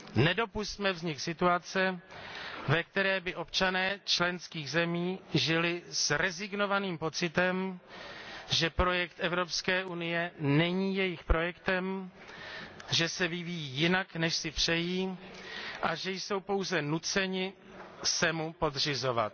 Nedopusťme vznik situace, ve které by občané členských zemí žili s rezignovaným pocitem, že projekt Evropské unie není jejich projektem, že se vyvíjí jinak, než si přejí, a že jsou pouze nuceni se mu podřizovat.